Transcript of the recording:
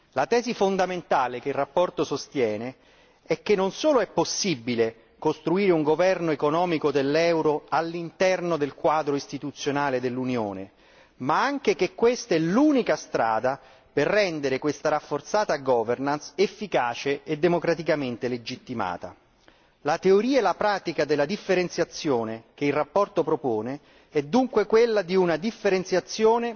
La tesi fondamentale che la relazione sostiene è che non solo è possibile costruire un governo economico dell'euro all'interno del quadro istituzionale dell'Unione, ma anche che questa è l'unica strada per rendere questa rafforzata governance efficace e democraticamente legittimata. La teoria e la pratica della differenziazione che la relazione propone è dunque quella di una differenziazione